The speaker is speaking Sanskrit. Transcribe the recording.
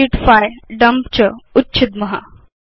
शीट्स् 5 डम्प च उच्छिद्म